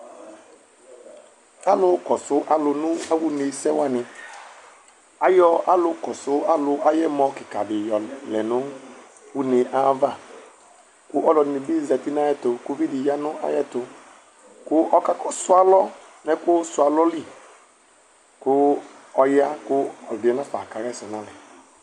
alo kɔsu alo no awò une sɛ wani ayɔ alo kesu alo ay'ɛmɔ keka di la yɔlɛ no une ava kò aloɛdini bi zati n'ayɛto kò uvi di ya n'ayɛto kò ɔka su alɔ no ɛkò su alɔ li kò ɔya kò ɔgaɛ nafa ka ɣa ɛsɛ n'alɛ